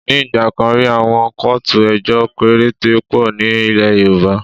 Ní ìgbà kan rí, àwọn kóòtù ejọ́ péréte pọ̀ ní ilẹ̀ Yorùbá.